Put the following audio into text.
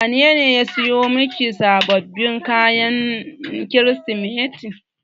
Wanene ya siyo miki sababbin kaya na Kirsimeti.